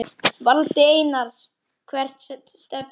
Valdi Einars Hvert stefnir þú?